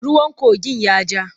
Ruwan kogin ya ja.